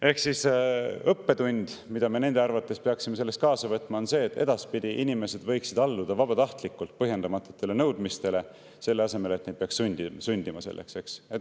" Ehk siis õppetund, mida me nende arvates peaksime sellest kaasa võtma, on see, et edaspidi inimesed võiksid alluda vabatahtlikult põhjendamatutele nõudmistele, selle asemel et neid peaks selleks sundima.